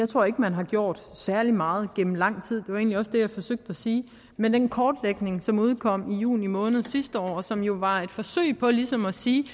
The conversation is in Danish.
tror ikke man har gjort særlig meget igennem lang tid var egentlig også det jeg forsøgte at sige men den kortlægning som udkom i juni måned sidste år og som jo var et forsøg på ligesom at sige